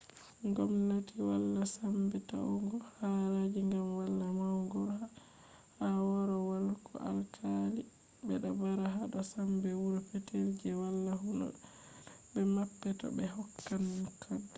ngomnaati wala sambe ta’ugo haraaji gam wala maudo ha korowal ko alkali bedo baara hado sambe wuro petel je wala huuda be mappe to be hokkan dokaji